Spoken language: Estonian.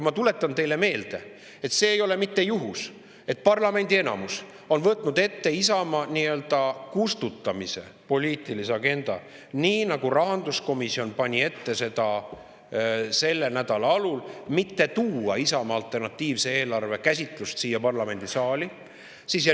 Ma tuletan teile meelde, et see ei ole juhus, et parlamendi enamus on võtnud ette nii-öelda Isamaa kustutamise poliitilise agenda, nagu rahanduskomisjon pani ette selle nädala alul mitte tuua Isamaa alternatiivset eelarvet siia parlamendisaali.